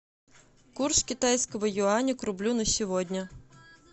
курс китайского юаня к рублю на сегодня